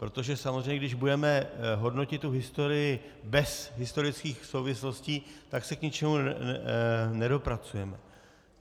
Protože samozřejmě když budeme hodnotit tu historii bez historických souvislostí, tak se k ničemu nedopracujeme.